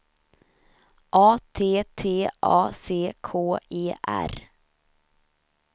A T T A C K E R